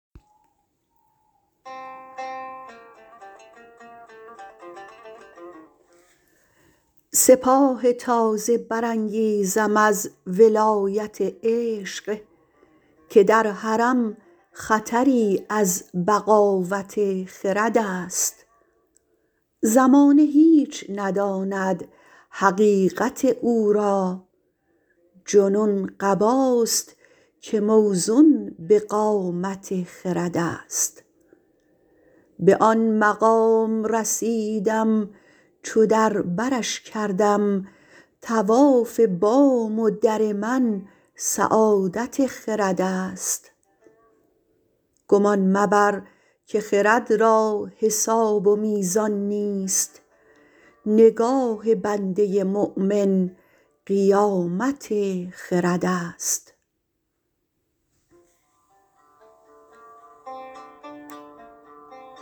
سپاه تازه برانگیزم از ولایت عشق که در حرم خطری از بغاوت خرد است زمانه هیچ نداند حقیقت او را جنون قباست که موزون بقامت خرد است به آن مقام رسیدم چو در برش کردم طواف بام و در من سعادت خرد است گمان مبر که خرد را حساب و میزان نیست نگاه بنده مؤمن قیامت خرد است